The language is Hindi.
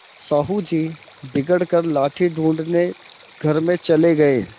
साहु जी बिगड़ कर लाठी ढूँढ़ने घर में चले गये